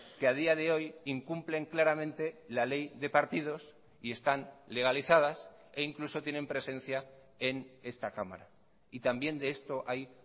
que ha día de hoy incumplen claramente la ley de partidos y están legalizadas e incluso tienen presencia en esta cámara y también de esto hay